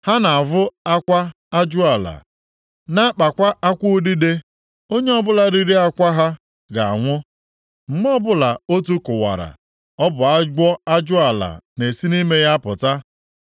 Ha na-avụ akwa ajụala, na-akpakwa akwụ udide. Onye ọbụla riri akwa ha ga-anwụ, mgbe ọbụla otu kụwara, ọ bụ agwọ ajụala na-esi nʼime ya apụta.